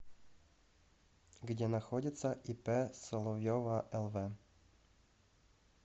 где находится ип соловьева лв